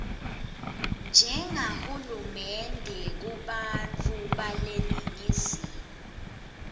njengahulumende kubantfu beleningizimu